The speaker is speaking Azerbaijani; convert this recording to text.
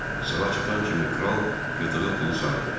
Sala çatan kimi kral yığdığı pulu saydı.